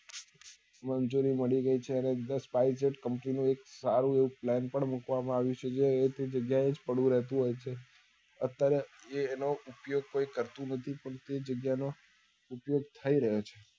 મંજુરી મળી ગઈ છે અને અંદર company નું સારું એવું plain પણ મુકવા માં આવ્યું છે એ અહ્યા તે જગ્યા એ જ પડ્યું રહેતું હોય છે અત્યારે એ તેનો ઉપયોગ કોઈ કરતું નથી પણ તે જગ્યા નો ઉપયોગ થઇ રહ્યો છે